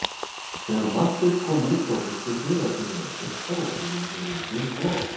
Þegar Marteinn kom út frá biskupi var byrjað að birta og himininn orðinn dimmblár.